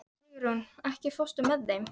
Sigurunn, ekki fórstu með þeim?